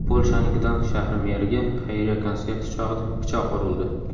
Polshaning Gdansk shahri meriga xayriya konserti chog‘ida pichoq urildi.